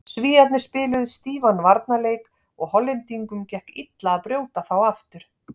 Svíarnir spiluðu stífan varnarleik og Hollendingum gekk illa að brjóta þá aftur.